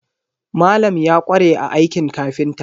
Malam ya ƙware a aikin kafinta.